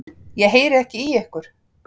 Ég heyri ekki í ykkur.